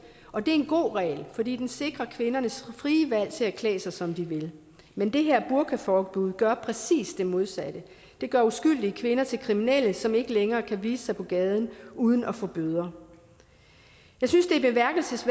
og det er en god regel fordi den sikrer kvindernes frie valg til at klæde sig som de vil men det her burkaforbud gør præcis det modsatte det gør uskyldige kvinder til kriminelle som ikke længere kan vise sig på gaden uden at få bøder jeg synes det